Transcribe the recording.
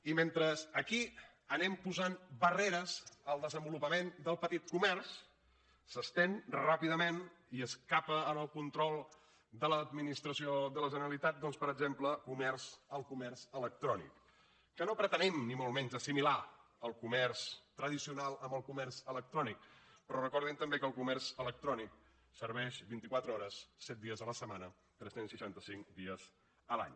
i mentre aquí anem posant barreres al desenvolupament del petit comerç s’estén ràpidament i escapa al control de l’administració de la generalitat per exemple el comerç electrònic que no pretenem ni molt menys assimilar el comerç tradicional al comerç electrònic però recordin també que el comerç electrònic serveix vint i quatre hores set dies la setmana tres cents i seixanta cinc dies l’any